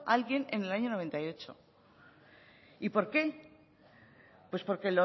alguien en el año mil novecientos noventa y ocho y por qué pues porque